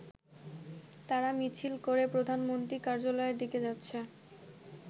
তারা মিছিল করে প্রধানমন্ত্রীর কার্যালয়ের দিকে যাচ্ছে।